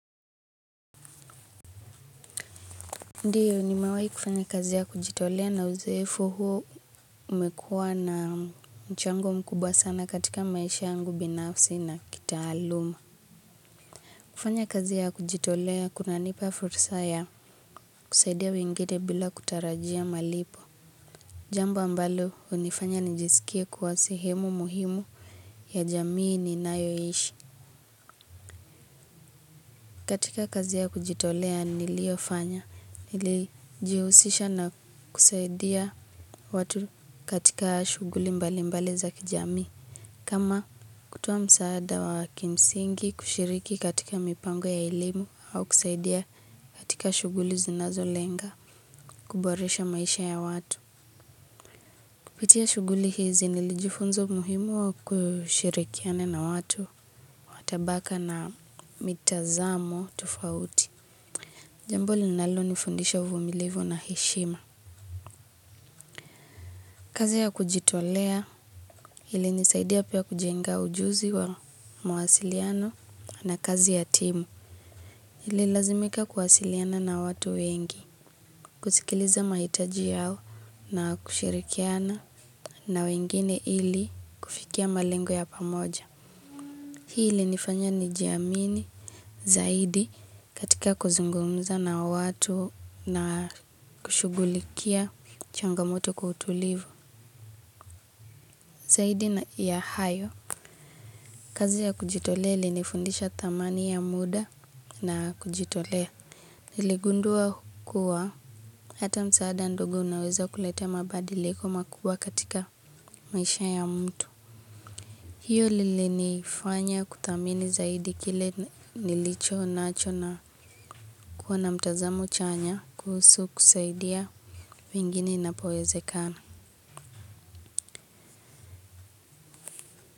Ndiyo nimewai kufanya kazi ya kujitolea na uzeofu huu umekuwa na mchango mkubwa sana katika maisha yangu binafsi na kitaaluma. Kufanya kazi ya kujitolea kuna nipa fursa ya kusaidia wengine bila kutarajia malipo. Jambo ambalo unifanya nijisikia kuwa sehemu muhimu ya jamii ninayoishi. Katika kazi ya kujitolea niliofanya, nilijihusisha na kusaidia watu katika shughuli mbali mbali za kijamii. Kama kutoa msaada wa kimsingi kushiriki katika mipango ya elimu au kusaidia katika shughuli zinazo lenga kuboresha maisha ya watu. Kupitia shughuli hizi nilijifunza muhimu wa kushirikiana na watu wa tabaka na mitazamo tofauti. Jambo linalo nifundisha uvumilivu na heshima. Kazi ya kujitolea ili nisaidia pia kujenga ujuzi wa mawasiliano na kazi ya timu. Nili lazimika kuwasiliana na watu wengi, kusikiliza mahitaji yao na kushirikiana na wengine ili kufikia malengo ya pamoja. Hii ili nifanya nijiamini zaidi katika kuzungumza na watu na kushughulikia changamoto kwa utulivu. Zaidi na ya hayo. Kazi ya kujitolea ilinifundisha thamani ya muda na kujitolea. Niligundua kuwa hata msaada ndogo unaweza kuleta mabadiliko makubwa katika maisha ya mtu. Hiyo linifanya kuthamini zaidi kile nilicho nacho na kuwa mtazamo chanya kuhusu kusaidia wengine inapowezekana.